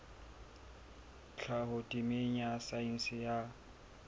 tlhaho temeng ya saense ya